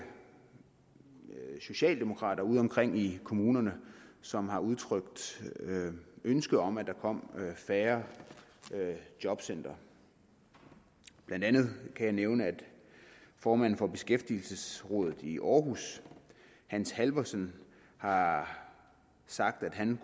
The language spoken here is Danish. socialdemokrater udeomkring i kommunerne som har udtrykt ønske om at der kom færre jobcentre blandt andet kan jeg nævne at formanden for beskæftigelsesrådet i aarhus hans halvorsen har sagt at han